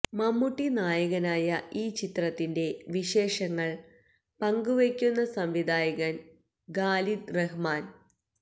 മമ്മുട്ടി നായകനായ ഈ ചിത്രത്തിന്റെ വിശേഷങ്ങൾ പങ്ക് വെക്കുന്നു സംവിധായകൻ ഖാലിദ് റഹ്മാൻ